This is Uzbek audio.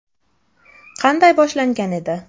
Qanday boshlangan edi?